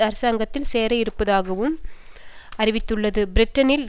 அரசாங்கத்தில் சேரவிருப்பதாகவும் அறிவித்துள்ளது பிரிட்டனில்